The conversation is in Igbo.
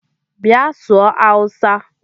Bia sụọ hausa!!